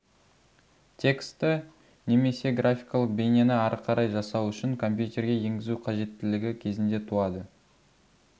тексті немесе графикалық бейнені ары қарай жасау үшін компьютерге енгізу қажеттілігі кезінде туады